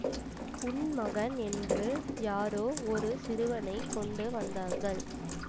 உன் மகன் என்று யாரோ ஒரு சிறுவனை கொண்டு வந்தார்கள்